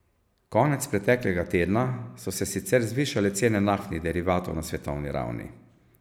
Konec preteklega tedna so se sicer zvišale cene naftnih derivatov na svetovni ravni.